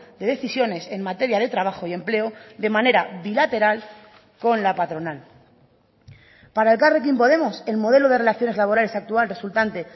de decisiones en materia de trabajo y empleo de manera bilateral con la patronal para elkarrekin podemos el modelo de relaciones laborales actual resultante